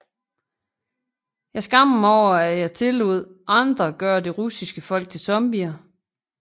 Jeg skammer mig over at jeg tillod andre at gøre det russiske folk til zombier